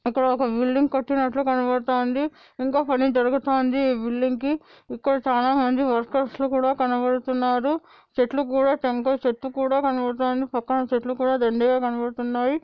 ఇక్కడ ఓకా కట్టినట్లు కనపడుతున్నది. ఇంకా పని జరుగుతూంది ఈ కి. ఇక్కడ చాల మంది కుడా కనపడుతూనారు. చెట్లు కూడా శంకర్ చెట్టు కూడా కనపడుతోంది. పక్కన చెట్లు కూడా దండిగా కనపడుతున్నాయి.